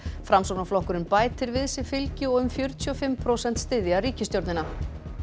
framsóknarflokkurinn bætir við sig fylgi og um fjörutíu og fimm prósent styðja ríkisstjórnina